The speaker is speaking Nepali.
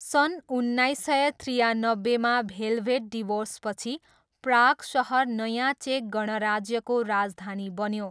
सन् उन्नाइस सय त्रियानब्बेमा भेलभेट डिभोर्सपछि प्राग सहर नयाँ चेक गणराज्यको राजधानी बन्यो।